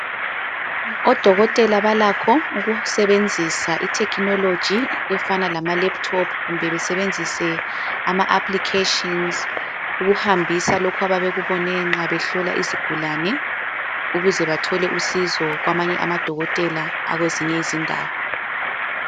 Odokotela balakho ukusebenzisa iTechnology efana lamaLaptop kumbe besebenzisa ama applications, ukuhambisa lokho abakubone nxa behlola izigulane, ukuzebathole usizo kwamanye amadokotela akwezinye indawo.